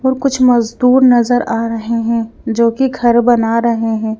और कुछ मजदूर नजर आ रहे हैं जो कि घर बना रहे हैं।